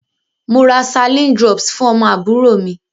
Mo ra Saline drops fún ọmọ àbúrò mi.